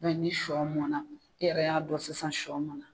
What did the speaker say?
ni shɔ mɔnna e yɛrɛ y'a dɔn sisan shɔ mɔnna.